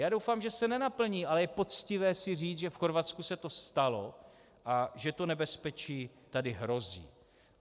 Já doufám, že se nenaplní, ale je poctivé si říct, že v Chorvatsku se to stalo a že to nebezpečí tady hrozí.